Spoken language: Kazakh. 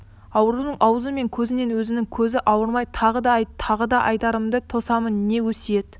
аурудың аузы мен көзінен өзінің көзін айырмай тағы да айт тағы да айтарыңды тосамын не өсиет